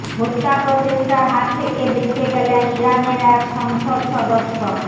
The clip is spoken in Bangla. হত্যাপ্রচেষ্টার হাত থেকে বেঁচে গেলেন ইরানের এক সংসদ সদস্য